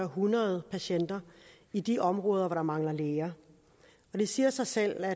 hundrede patienter i de områder hvor der mangler læger det siger sig selv at